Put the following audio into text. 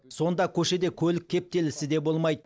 сонда көшеде көлік кептелісі де болмайды